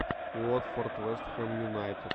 уотфорд вест хэм юнайтед